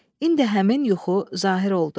İndi həmin yuxu zahir oldu.